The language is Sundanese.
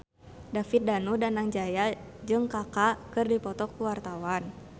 David Danu Danangjaya jeung Kaka keur dipoto ku wartawan